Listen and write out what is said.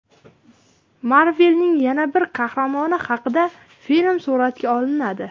Marvel’ning yana bir qahramoni haqida film suratga olinadi.